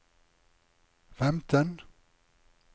femten